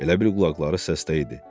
Elə bil qulaqları səsdə idi.